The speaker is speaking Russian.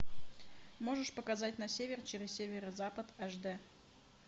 можешь показать на север через северо запад аш д